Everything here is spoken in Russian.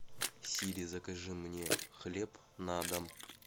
сири закажи мне хлеб на дом